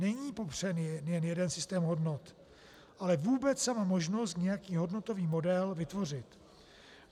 Není popřen jen jeden systém hodnot, ale vůbec sama možnost nějaký hodnotový model vytvořit.